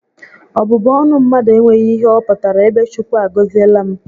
Ọbụbụ ọnụ mmadụ enweghị ihe ọ pụtara ebe Chukwu a gọziela m